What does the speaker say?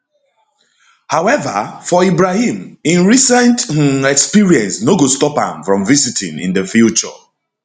however for ibrahim im recent um experience no go stop am from visiting in di future